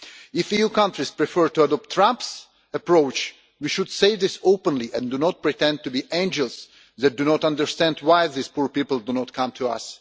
If EU countries prefer to adopt Trump's approach we should say this openly and not pretend to be angels that do not understand why these poor people do not come to us.